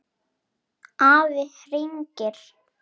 Afi hringir